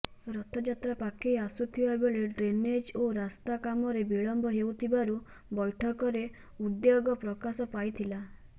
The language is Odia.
ରଥଯାତ୍ରା ପାଖେଇ ଆସୁଥିବା ବେଳେ ଡ୍ରେନେଜ୍ ଓ ରାସ୍ତା କାମରେ ବିଳମ୍ବ ହେଉଥିବାରୁ ବୈଠକରେ ଉଦ୍ବେଗ ପ୍ରକାଶ ପାଇଥିଲା